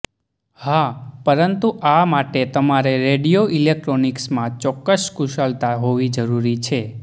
હા પરંતુ આ માટે તમારે રેડિયો ઇલેક્ટ્રોનિક્સમાં ચોક્કસ કુશળતા હોવી જરૂરી છે